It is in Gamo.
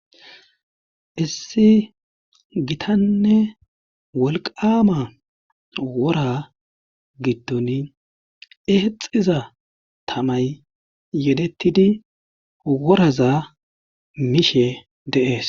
Issi gitanne wolqama wora gidton eexiza tamay yedettidi woraza mishe deees.